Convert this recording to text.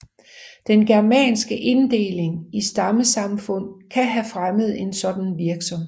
Den germanske inddeling i stammesamfund kan have fremmet en sådan virksomhed